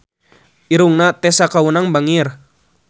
Irungna Tessa Kaunang bangir